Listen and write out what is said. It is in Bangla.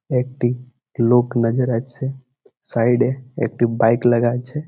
একটি লোক মেজর আছে সাইড -এ একটি বইকে লাগা আছে ।